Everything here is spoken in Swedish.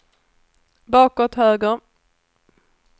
bakåt höger